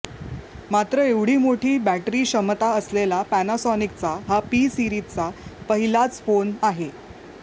मात्र एवढी मोठी बॅटरी क्षमता असलेला पॅनासॉनिकचा हा पी सीरिजचा पहिलाच फोन आहे